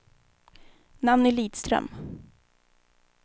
Nanny Lidström